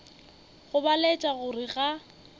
go ba laetša gore ga